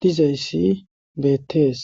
dizayssi beettees.